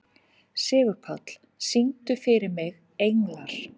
Sigurpáll, syngdu fyrir mig „Englar“.